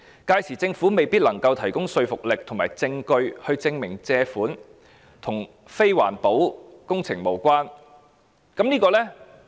屆時政府未必能提供具說服力的證據證明借款與非環保的工程無關。